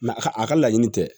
a ka a ka laɲini tɛ